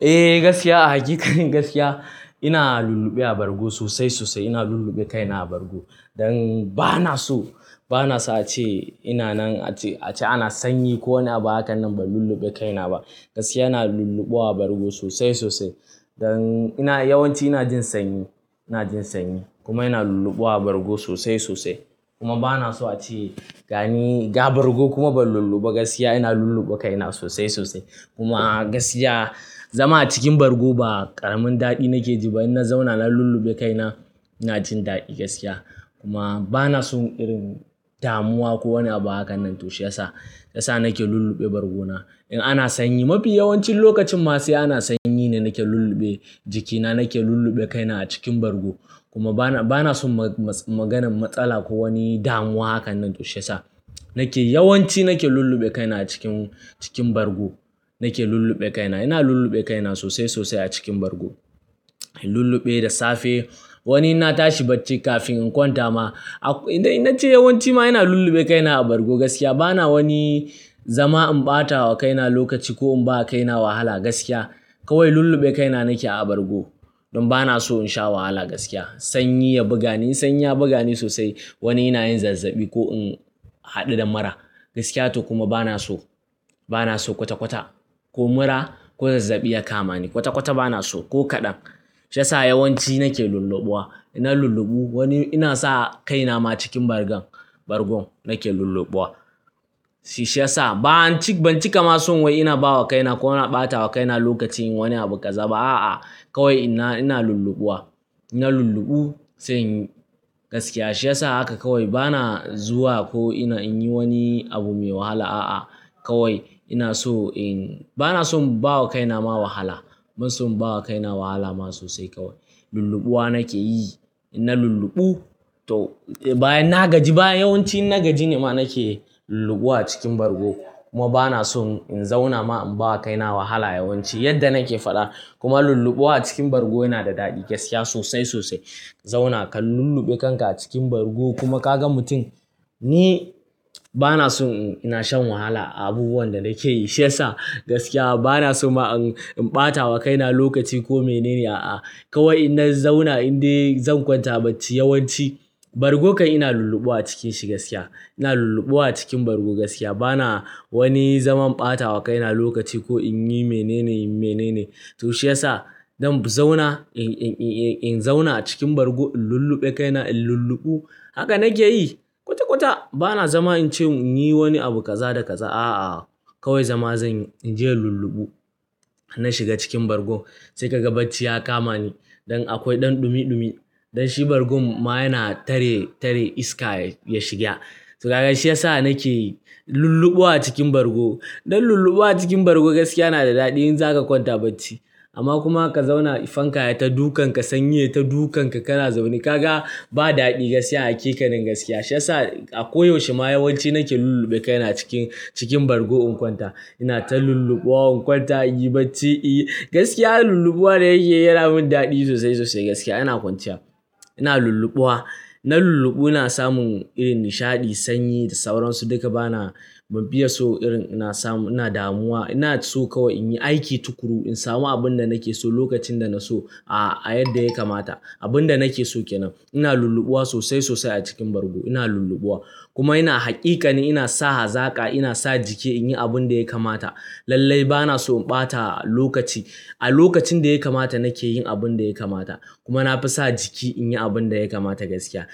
Eh, gaskiya a hakikanin ina lulluɓe a bargo sosai sosai. Ina lulluɓe kaina a bargo. Dan bana so a ce ina nan a ce sanyi ko wani abu. Hakan nan ban lulluɓe kaina ba. Gaskiya, ina lulluɓuwa a bargo sosai sosai. Yawanci ina jin sanyi kuma ina lulluɓuwa a bargo sosai sosai. Kuma bana so a ce gani ga bargo kuma ban lulluɓu ba. Gaskiya, ina lulluɓe kaina sosai sosai. Kuma zama a cikin bargo ba ƙaramin daɗi nake ji ba. In na zauna na lulluɓe kaina ina jin daɗi gaskiya. Kuma bana son damuwa ko wani abu. Haka nan, to shiyasa nake lulluɓe bargona in ana sanyi. Mafi yawancin lokacin ma sai ana sanyi ne nake lulluɓe jikina, nake lulluɓe kaina a cikin bargo. Kuma bana son maganan matsala ko wani damuwa. Haka nan, to shiyasa yawanci nake lulluɓe kaina a cikin bargo. Ina lulluɓe kaina sosai sosai a cikin bargo. Ina lulluɓe da safe, wani in na tashi bacci kafin in kwanta ma. Yawanci ma ina lulluɓe kaina a bargo gaskiya. Bana wani zaman ɓata wa kaina lokaci ko in ba kaina wahala gaskiya. Kawai lulluɓe kaina nake a bargo don ba na so in sha wahala gaskiya. Sanyi ya buga ni sosai wani ina yin zazzabi ko in haɗu da mura. Gaskiya to kuma bana so kwata-kwata ko mura ko zazzabi ya kama ni. Kwata-kwata bana so ko kaɗan. Shiyasa yawanci nake lulluɓuwa. Na lulluɓu wani ina sa kaina ma cikin bargon nake lulluɓuwa. Shiyasa ban cika ma son wai ina ba wa kaina ko na ɓata wa kaina lokaci yin wani abu kaza ba. A'a, kawai ina lulluɓuwa. Na lulluɓu, shiyasa haka kawai. Bana zuwa ko ina in yi wani abu mai wahala. A'a, kawai ina so in, bana son bawa kaina ma wahala. Bana son ba wa kaina wahala ma sosai kawai. Lulluɓuwa nake yi. Na lulluɓu, to bayan na gaji, yawanci in na gaji ne ma nake lulluɓuwa cikin bargo. Kuma bana son in zauna ma in bawa kaina wahala yawanci yadda nake faɗa. Kuma lulluɓuwa cikin bargo yana da daɗi gaskiya sosai sosai. Zauna ka lulluɓe kanka a cikin bargo kuma ka ga mutum. Ni bana son in sha wahala a abubuwan da nake yi. Shiyasa gaskiya bana so ma in ɓata wa kaina lokaci ko mene ne. A'a, kawai in na zauna in dai zan kwanta bacci. Yawanci bargo kam ina lulluɓuwa a cikin shi gaskiya. Ina lulluɓuwa cikin bargo gaskiya. Bana wani zaman ɓata wa kaina lokaci ko in yi mene ne. To shiyasa in zauna cikin bargo in lulluɓe kaina, in lulluɓu. Haka nake yi kwata-kwata. Bana zama in ce in yi wani abu kaza da kaza. A'a, kawai zama in je in lulluɓu. Na shiga cikin bargo sai ka ga bacci ya kama ni. Don akwai ɗumi ɗumi, don shi bargon ma yana tare iska ya shiga. To kaga shiyasa nake lulluɓuwa cikin bargo. Don lulluɓuwa cikin bargo gaskiya yana da daɗi in za ka kwanta bacci. Amma kuma ka zauna fanka yayi ta dukanka, sanyi yayi ta dukanka ka na zaune, ka ga ba daɗi gaskiya a hakanin gaskiya. Shiyasa a koyaushe ma yawanci nake lulluɓe kaina cikin bargo in kwanta. Ina ta lulluɓuwa in kwanta in yi bacci. Gaskiya lulluɓuwa yana yi yana min daɗi sosai sosai gaskiya. Ina kwanciya, ina lulluɓuwa. Na lulluɓu ina samun irin nishaɗi, sanyi da sauransu. Duka bana bam fiye so irin ina samu ina damuwa. Ina so kawai in yi aiki tukuru, in samu abin da nake so lokacin da na so a yadda ya kamata. Abin da nake so kenan. Ina lulluɓuwa sosai sosai a cikin bargo. Ina lulluɓuwa kuma ina haƙiƙa ne ina sa hazaka, ina sa jiki in yi abin da ya kamata. Lallai bana so ɓata lokaci. A lokacin da ya kamata nake yin abin da ya kamata. Kuma na fi sa jiki in yi abin da ya kamata gaskiya.